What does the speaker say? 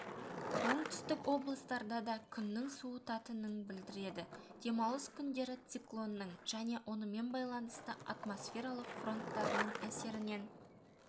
оңтүстік облыстарда да күннің суытатынын білдіреді демалыс күндері циклонның және онымен байланысты атмосфералық фронттардың әсерінен